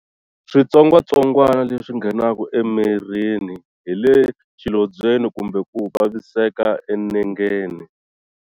Switsongwatsongwana leswi nghenaka emirini hi le xilondzweni kumbe ku vaviseka enengeni.